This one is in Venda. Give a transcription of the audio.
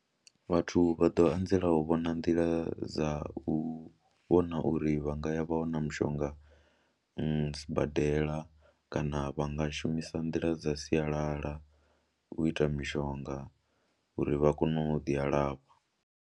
Vhathu vha ḓo anzela u vhona nḓila dza u vhona uri vha nga ya vha wana mushonga sibadela kana vha nga shumisa nḓila dza sialala u ita mishonga uri vha kone u ḓi alafha.